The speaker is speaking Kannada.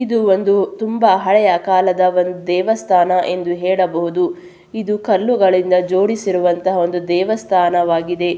ಇದು ಒಂದು ತುಂಬಾ ಹಳೆಯಕಾಲದ ಒಂದು ದೇವಸ್ಥಾನ ಎಂದು ಹೇಳಬಹುದು ಇದು ಕಲ್ಲುಗಳಿಂದ ಜೋಡಿಸಿರುವಂತಹ ಒಂದು ದೇವಸ್ಥಾನವಾಗಿದೆ.